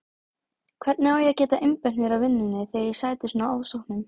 Hvernig á ég að geta einbeitt mér að vinnunni þegar ég sæti svona ofsóknum?